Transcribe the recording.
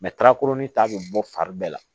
ta bɛ bɔ fari bɛɛ la